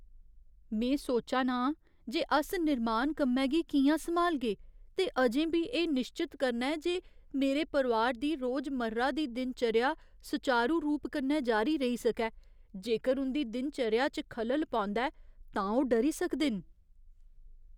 में सोचा ना आं जे अस निर्माण कम्मै गी कि'यां सम्हालगे ते अजें बी एह् निश्चत करना ऐ जे मेरे परोआर दी रोजमर्रा दी दिनचर्या सुचारू रूप कन्नै जारी रेही सकै। जेकर उं'दी दिनचर्या च खलल पौंदा ऐ तां ओह् डरी सकदे न।